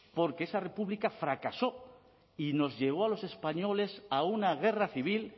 porque esa república fracasó y nos llevó a los españoles a una guerra civil